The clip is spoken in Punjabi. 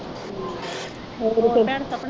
ਹੋਰ ਭੈਣ ਸਪਨਾ?